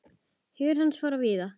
Hugur hans fór víða.